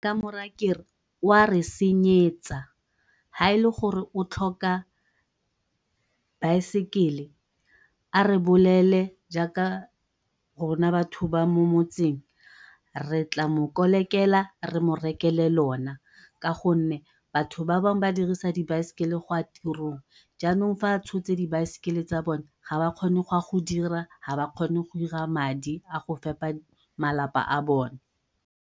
Ke ka mo raya kere o a re senyetsa, ga e le gore o tlhoka baesekele a re bolelele jaaka batho ba mo motseng re tla mo kolekela re mo rekele lona, ka gonne batho ba bangwe ba dirisa dibaesekele go ya tirong mme jaanong fa a tshotse dibaesekele tsa bone ga ba kgone go ya go dira ga ba kgone go dira madi a go fepa malapa a bone.